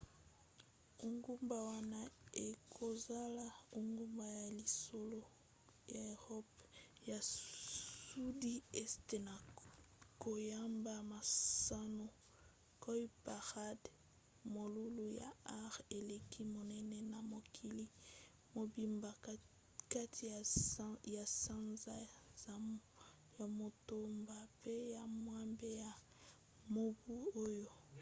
engumba wana ekozala engumba ya liboso ya eropa ya sudi este na koyamba masano cowparade molulu ya art eleki monene na mokili mobimba kati ya sanza ya motoba mpe ya mwambe ya mobu oyo